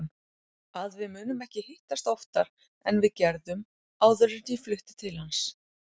Að við munum ekki hittast oftar en við gerðum áður en ég flutti til hans.